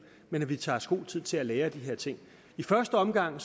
men tager os god tid til at lære af de her ting i første omgang